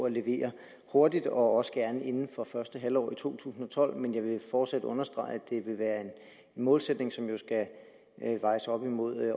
at levere hurtigt og også gerne inden for første halvår i to tusind og tolv men jeg vil fortsat understrege at det vil være en målsætning som jo skal vejes op imod